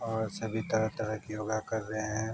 और सभी तरह-तरह के योगा कर रहे हैं।